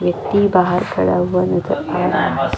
व्यक्ति बाहर खड़ा हुआ नज़र आ रहा है।